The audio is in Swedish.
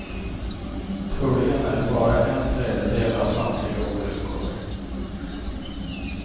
Troligen är det bara en tredjedel av samtliga olyckor.